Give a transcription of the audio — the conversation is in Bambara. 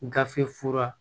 Gafe fura